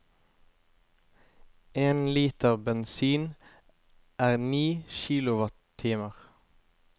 En liter bensin er ni kilowattimer.